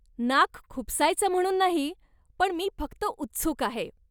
नाक खुपसायचं म्हणून नाही पण मी फक्त उत्सुक आहे.